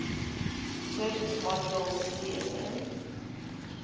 service module csm